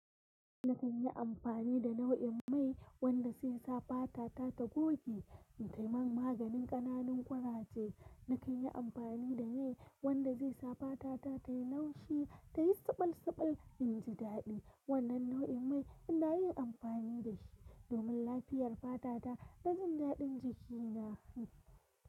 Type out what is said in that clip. Na kan yi amfani da nau'in mai wanda zai sa fata ta ta goge, sai man maganin ƙananun ƙuraje. Na kan yi amfani da mai wanda zai sa fata ta tayi laushi, tayi tsabalsabal in ji daɗi. Wannan nau'in mai ina yin amfani da shi domin lafiyar fata ta da jin daɗin jiki na.